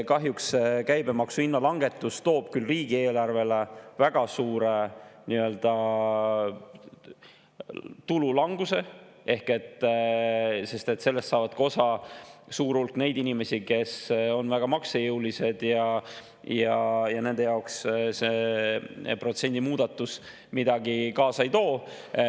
Kahjuks toob käibemaksu langetamine riigieelarvele väga suure tulu languse, sest sellest saab osa ka suur hulk neid inimesi, kes on maksejõulised, ja nende jaoks see protsendi muutmine midagi kaasa ei too.